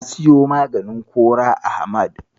Na siyo maganin kora a Hamad.